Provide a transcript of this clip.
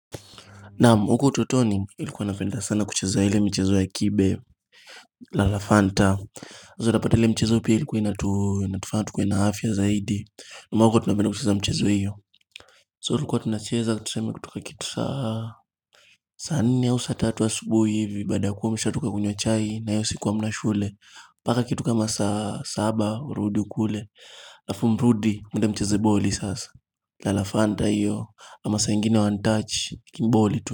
Naam, huko utotoni nilikuwa napenda sana kucheza ile michezo ya kibe, la lafanta sasa utapata ile mchezo pia ilikuwa inatufanya tukuwe na afya zaidi ambapo tunapenda kucheza mchezo hiyo So tulikuwa tunacheza tuseme kutoka kitu saa saa nne au saa tatu asubuhi hivi Baada kuwa mshatoka kunywa chai na hiyo siku hamna shule mpaka kitu kama saa saba, urudi ukule halafumrudi, mende mcheze boli sasa la lafanta hiyo, ama saa ingine one touch, lakini boli tu.